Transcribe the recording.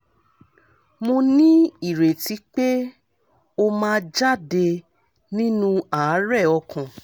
mo ní ìrètí pé ó máa jáde nínú àárẹ̀ ọkàn